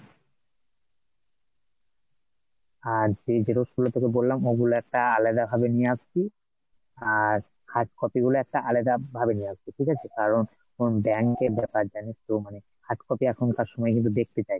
আর যে Xerox গেলো তোকে বললাম, ওগুলো একটা আলাদাভাবে নিয়ে আসবি, আর hard copy গুলো একটা আলাদাভাবে নিয়ে আসবি ঠিক আছে কারণ এখন bank এর ব্যাপার জানিস তো মানে hard copy এখনকার সময় কিন্তু দেখতে চায়